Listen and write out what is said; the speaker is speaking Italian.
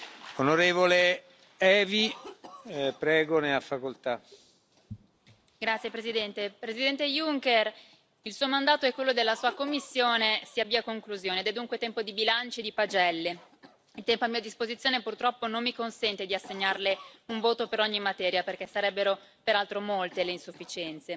Signor Presidente, onorevoli colleghi, Presidente Juncker, il Suo mandato e quello della Sua Commissione si avvia a conclusione ed è dunque tempo di bilanci e di pagelle. Il tempo a mia disposizione, purtroppo, non mi consente di assegnarle un voto per ogni materia perché sarebbero peraltro molte le insufficienze.